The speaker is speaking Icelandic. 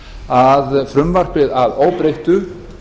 að frumvarpið að óbreyttu